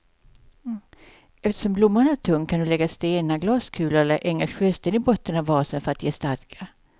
Eftersom blomman är tung kan du lägga stenar, glaskulor eller engelsk sjösten i botten av vasen för att ge stadga.